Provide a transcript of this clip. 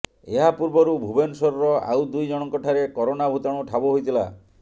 ଏହା ପୂର୍ବରୁ ଭୁବନେଶ୍ୱରର ଆଉ ଦୁଇ ଜଣଙ୍କ ଠାରେ କରୋନା ଭୂତାଣୁ ଠାବ ହୋଇଥିଲା